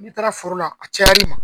N'i taara foro la a cayar'i ma